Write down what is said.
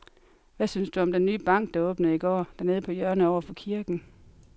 Hvad synes du om den nye bank, der åbnede i går dernede på hjørnet over for kirken?